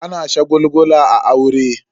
Ana shagulgula a aure.